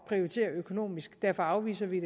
prioritere økonomisk derfor afviser vi